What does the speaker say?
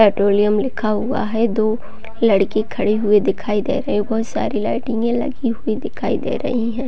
Petroleum लिखा हुआ है दो लड़की खड़े हुए दिखाई दे रहै है बहुत सारी लाइटिंगे लगी हुई दिखाई दे रही हैं।